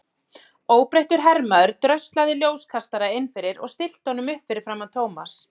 Óbreyttur hermaður dröslaði ljóskastara inn fyrir og stillti honum upp fyrir framan Thomas.